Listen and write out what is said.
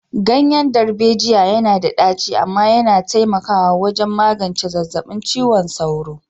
Ganyen darbejiya yana da ɗaci amma yana taimakawa wajen magance zazzabin cizon sauro.